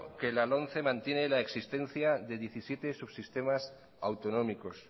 que la lomce mantiene la existencia de diecisiete subsistemas autonómicos